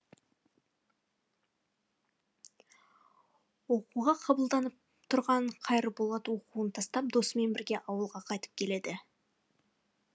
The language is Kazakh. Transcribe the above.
оқуға қабылданып тұрған қайырболат оқуын тастап досымен бірге ауылға қайтып келеді